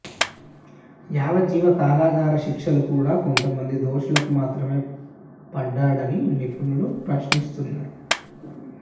యావజ్జీవ కారాగార శిక్షలు కూడా కొంతమంది దోషులకు మాత్రమే పడడాన్ని నిపుణులు ప్రశ్నిస్తున్నారు